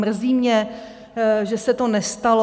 Mrzí mě, že se to nestalo.